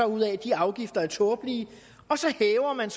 ud af at de afgifter er tåbelige hæver man